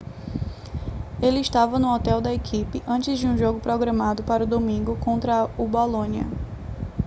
ele estava no hotel da equipe antes de um jogo programado para o domingo contra o bolonia